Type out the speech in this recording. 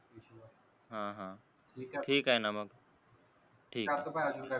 ह ह ठीक आहे न मग ठीक आहे.